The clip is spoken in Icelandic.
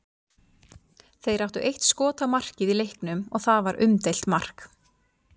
Þeir áttu eitt skot á markið í leiknum og það var umdeilt mark.